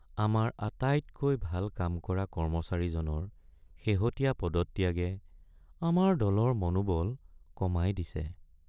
আমাৰ আটাইতকৈ ভাল কাম কৰা কৰ্মচাৰীজনৰ শেহতীয়া পদত্যাগে আমাৰ দলৰ মনোবল কমাই দিছে।